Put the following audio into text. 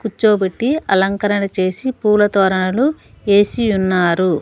కుచ్చోబెట్టి అలంకరణ చేసి పూల తోరణాలు ఏసి ఉన్నారు.